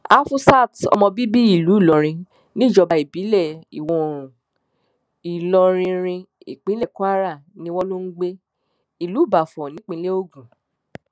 afusat ọmọ bíbí ìlú ìlọrin níjọba ìbílẹ ìwọoòrùn ìloririn ìpínlẹ kwara ni wọn lọ ń gbé ìlú ìbáfò nípínlẹ ogun